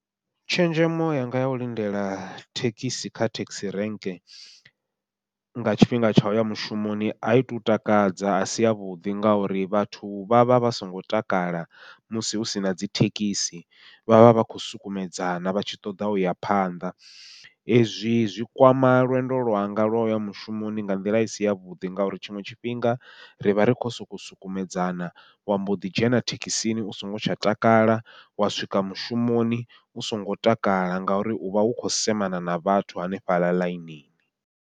Tshenzhemo yanga yau lindela thekhisi kha taxi rank nga tshifhinga tsha uya mushumoni, ai to takadza a si yavhuḓi ngauri vhathu vha vha vha songo takala musi hu sina dzi thekhisi, vha vha vha khou sukumedzana vha tshi ṱoḓa uya phanḓa. Ezwi zwi kwama lwendo lwanga lwa uya mushumoni nga nḓila i si yavhuḓi, ngauri tshiṅwe tshifhinga rivha ri khou sokou sukumedzana wa mbo ḓi dzhena thekhisini u songo tsha takala, wa swika mushumoni u songo takala ngauri uvha u khou semana na vhathu hanefhaḽa ḽainini.